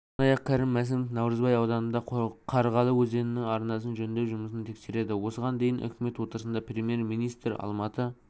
сондай-ақ кәрім мәсімов наурызбай ауданындағы қарғалыөзенінің арнасын жөндеу жұмысын тексереді осыған дейін үкімет отырысында премьер-министр алматы